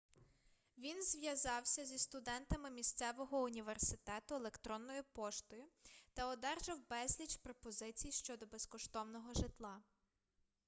він зв'язався зі студентами місцевого університету електронною поштою та одержав безліч пропозицій щодо безкоштовного житла